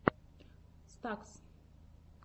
стакс